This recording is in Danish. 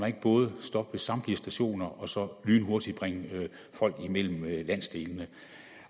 ikke både stoppe ved samtlige stationer og så lynhurtigt bringe folk imellem landsdelene